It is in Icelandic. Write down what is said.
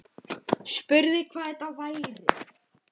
Spurði hvað þetta væri.